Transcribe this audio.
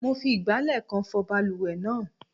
Mo fi ìgbálẹ̀ kan fọ balùwẹ̀ náà.